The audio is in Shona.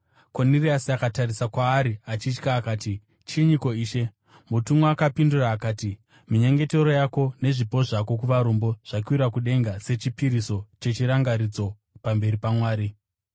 Koniriasi akatarisa kwaari achitya, akati, “Chinyiko, Ishe?” Mutumwa akapindura akati, “Minyengetero yako nezvipo zvako kuvarombo zvakwira kudenga sechipiriso chechirangaridzo pamberi paMwari.